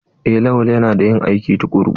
Eh lawal yana da ƴin aiki tukuru.